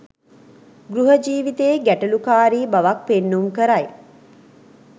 ගෘහ ජීවිතයේ ගැටලුකාරී බවක් පෙන්නුම් කරයි.